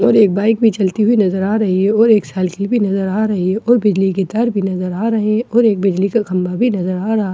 और एक बाइक भी चलती हुई नजर आ रही है और एक साइकिल भी नजर आ रही है और बिजली के तार भी नजर आ रहे हैं और एक बिजली का खंभा भी नजर आ रहा--